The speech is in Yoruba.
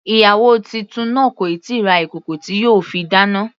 Ìyàwó titun náà kò tíì ra ìkòkò tí yóò fi dáná.